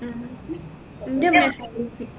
ആ അൻറെ ഉമ്മ slc